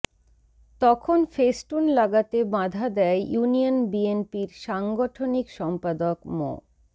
তখন ফেস্টুন লাগাতে বাঁধা দেয় ইউনিয়ন বিএনপির সাংগঠনিক সম্পাদক মো